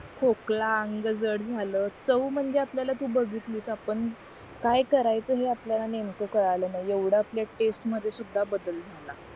खोकला अंग जाड झाल चव म्हणजे आपल्याला तू बघियातली कि आपण काय करायचं हे आपल्याला नेमकं कळलं नाही एव्हडा आपल्या टेस्ट मध्ये सुद्धा बदल झाला